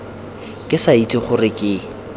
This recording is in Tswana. ke sa itse gore ke